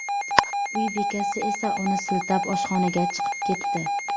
Uy bekasi esa uni siltab, oshxonaga chiqib ketdi.